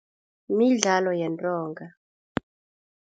Midlalo yentonga.